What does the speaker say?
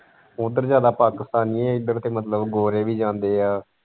ਉੱਧਰ ਜਿਆਦਾ ਪਾਕਿਸਤਾਨੀਏ ਇੱਧਰ ਤੇ ਮਤਲਬ ਗੋਰੇ ਵੀ ਜਾਂਦੇ ਹੈ।